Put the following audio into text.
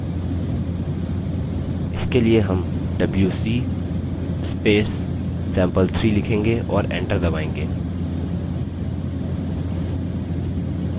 इसके लिए हम wc sample3 लिखेंगे और enter दबायेंगे